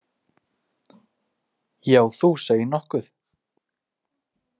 Já, þú segir nokkuð!